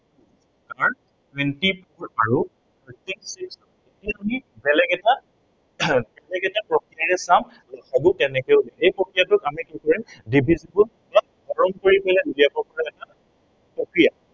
আমাৰ twenty four আৰু এতিয়া আমি বেলেগ এটা বেলেগ এটা প্ৰক্ৰিয়াৰে চাম। ল সা গু কেনেদৰে উলিয়াম। সেই প্ৰক্ৰিয়াটোক আমি কি কৰিম division বা হৰণ কৰি পেলাই উলিয়াব পৰা এটা প্ৰক্ৰিয়া।